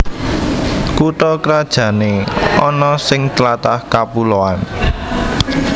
Kutha krajané ana sing tlatah kapuloan